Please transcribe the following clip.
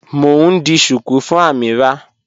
Mọ̀ n ḍì shuku fún Amīrah